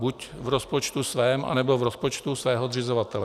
Buď v rozpočtu svém, anebo v rozpočtu svého zřizovatele.